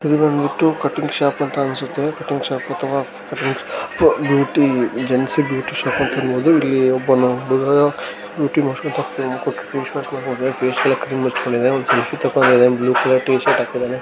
ಇದು ಬಂದ್ಬಿಟ್ಟು cutting shop ಅಂತ ಅನ್ಸುತ್ತೆ ಕಟಿಂಗ್ ಶಾಪ್ ಅಥವಾ cutting beauty joints beauty shop ಅಂತಾನೆ ಹೇಳಬಹುದು. ಇಲ್ಲಿ ಒಬ್ಬ ಹುಡುಗ ಫೇಸ್ ಮಾಸ್ಕ ಹಾಕ್ಕೊಂಡ ಕುತ್ತಿದಾನೆ. ಫೇಸ್ ಗೆ ಕ್ರೀಮ್ ಹಚ್ಕೊಂಡಿದಾನೆ. ಒಂದ್ ಸೆಲ್ಫಿ ತಗಂಡಿದಾನೆ ಬ್ಲೂ ಕಲರ್ ಟೀ-ಶರ್ಟ್ ಹಾಕಿದನೆ.